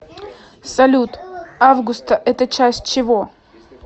салют августа это часть чего